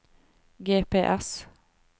GPS